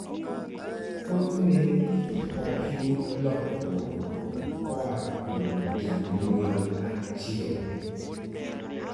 Thothne ok yud lokruokgo koa kuom janyuol achiel.